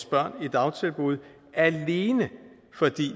børn i dagtilbud alene fordi